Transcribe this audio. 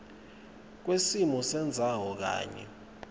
kwesimo sendzawo kanye